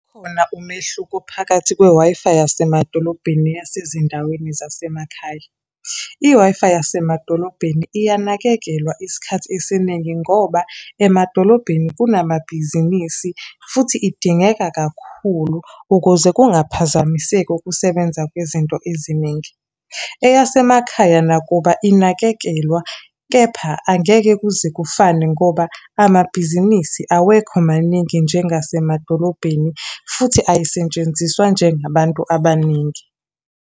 Ukhona umehluko phakathi kwe-Wi-Fi yasemadolobheni, neyasezindaweni zasemakhaya. I-Wi Fi yasemadolobheni iyanakekelwa isikhathi esiningi ngoba emadolobheni kunamabhizinisi, futhi idingeka kakhulu ukuze kungaphazamiseki ukusebenza kwezinto eziningi. Eyasemakhaya nakuba inakekelwa, kepha angeke kuze kufane ngoba amabhizinisi awekho maningi njengasemadolobheni, futhi ayisetshenziswa nje ngabantu abaningi.